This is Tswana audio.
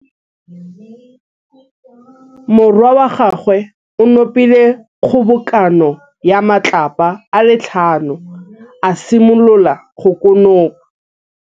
Morwa wa gagwe o nopile kgobokanô ya matlapa a le tlhano, a simolola go konopa.